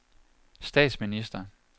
statsminister